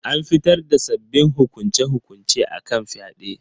An fitar da sabbabin hukunce-hukunce akan fyade